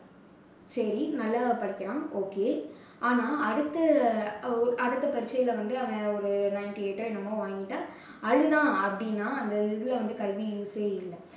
சரி நல்லா தான் படிக்கிறான் okay ஆனா அடுத்து, ஒ~ அடுத்த பரீட்சையில வந்து அவன் ஒரு rank eight ஓ என்னமோ வாங்கிட்டு அழுதான் அப்படின்னா அந்த இதுல வந்து கல்வி use சே இல்லை.